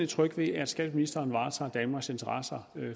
tryg ved at skatteministeren varetager danmarks interesser